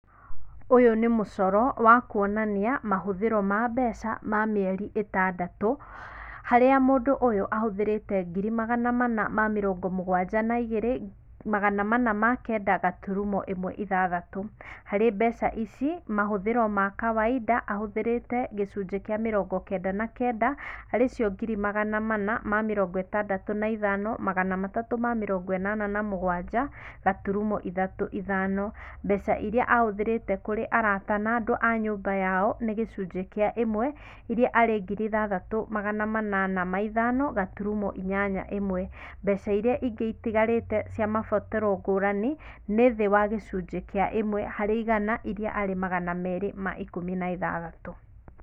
Ũyũ nĩ mũcoro wa kwonania mahũthiro ma mbeca wa mĩeri ĩtandatũ harĩa mũndũ ũyũ ahũthĩrĩte ngiri magana mana ma mĩrongo mũgwanja na igĩrĩ, magana mana ma kenda gaturumo ĩmwe ithathatũ. Harĩ mbeca ici mahũthĩro ma kawaida ahũthĩrĩte gĩcunjĩ kĩa mĩrongo kenda na kenda harĩ icio ngiri magana manna ma mĩrongo ĩtandatũ na ithano magana matatũ ma mĩrongo ĩnana na mũgwaja gaturumo ithatũ ithano ,mbeca irĩa ahũthĩrĩte kũrĩ arata na andũ a nyũmba yao nĩ gĩcunjĩ kĩa ĩmwe iria harĩ ngiri ithathatũ magana manana ma ithano gaturumo inyanya ĩmwe. Mbeca irĩa ingĩ itigarĩte cia mabataro ngũrani nĩ thĩ wa gĩcũnjĩ kĩa ĩmwe harĩ igana irĩa imagana merĩ ma ikũmi na ithathatũ.